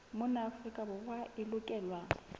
mona afrika borwa e lokelwa